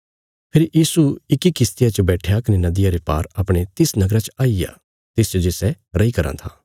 फेरी यीशु इक्की किश्तिया च बैट्ठया कने नदिया ते पार अपणे तिस नगरा च आईग्या तिसच जे सै रैई कराँ था